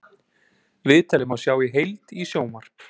Viðtalið má sjá í heild í sjónvarp